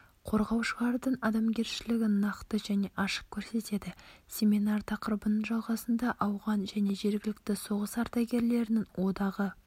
қорғаушылардың адамгершілігін нақты және ашық көрсетеді семинар тақырыбының жалғасында ауған және жергілікті соғыс ардагерлерінің одағы